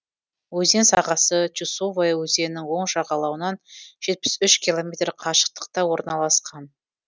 өзен сағасы чусовая өзенінің оң жағалауынан жетпіс үш километр қашықтықта орналасқан